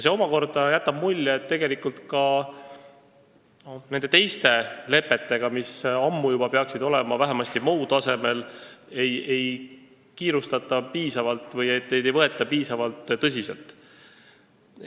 See omakorda jätab mulje, et ka teiste lepetega, mis ammu juba peaksid olema vähemasti MoU tasemel, ei kiirustata piisavalt või neid ei võeta tõsiselt.